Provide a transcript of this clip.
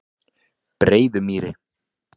Breiðumýri